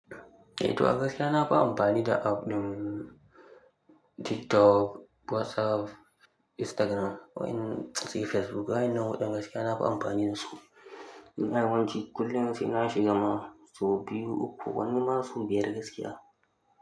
Eh to a gaskiya na ba amfani da app ɗin TikTok, WhatsApp, Instagram, sai Facebook. Wayannan hudun gaskiya na ba amfani da su. Ina yawanci kullum sai na shiga ma sau biyu uku, wani ma sau biyar gaskiya.